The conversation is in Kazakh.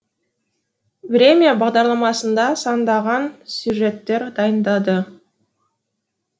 время бағдарламасында сандаған сюжеттер дайындады